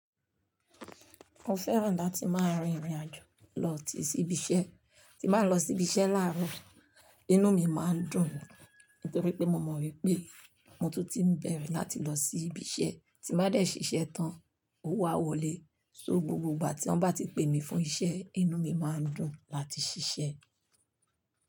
Mo fẹ́ràn láti máa rin ìrìn àjò lọ ti sí ibi iṣẹ́. Tí máa lọ sí ibi iṣẹ́ láàárọ̀, inú mi máa ń dùn nítorí pé mo mọ̀ wípé ohun mó tuti ń bẹ̀rẹ̀ láti lọ sí ibi iṣẹ́ tí máa dé ṣiṣẹ́ tán, ówo á wọlé. So gbogbo ìgbà tí wọ́n bá ti pè mí fún iṣẹ́, inú mi máa ń dùn láti ṣiṣẹ́